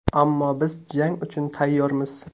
Ammo biz jang uchun tayyormiz.